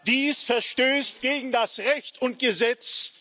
Dies verstößt gegen das Recht und Gesetz.